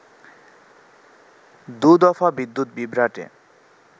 দু দফা বিদ্যুৎ বিভ্রাটে